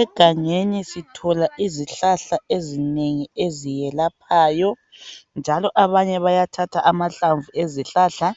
Egangeni sithola izihlahla ezinengi ezelaphayo njalo abanye bayathatha amahlamvu ezihlahla